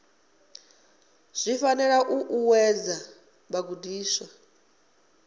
zwi fanela u ṱuṱuwedza vhagudiswa